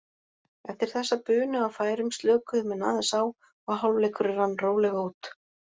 Eftir þessa bunu af færum slökuðu menn aðeins á og hálfleikurinn rann rólega út.